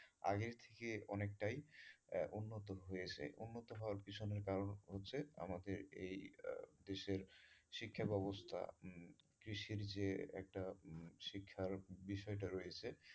আগে থেকে অনেকটাই উন্নত হয়েছে উন্নত হওয়ার পিছনে কারন হচ্ছে আমাকে এই আহ দেশের শিক্ষা বেবস্থা কৃষির যে একটা শিক্ষা বেবস্থা রয়েছে,